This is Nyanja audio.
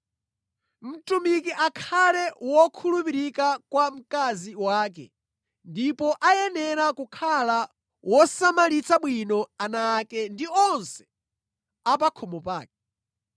Mtumiki akhale wokhulupirika kwa mkazi wake ndipo ayenera kukhala wosamalira bwino ana ake ndi onse a pa khomo pake.